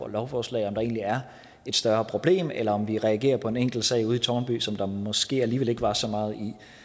lovforslag om der egentlig er et større problem eller om vi reagerer på en enkeltsag ude i tårnby som der måske alligevel ikke var så meget